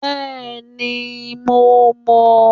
Bẹ́ẹ̀ni, mo mọn